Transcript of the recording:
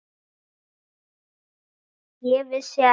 Ég vissi ekki.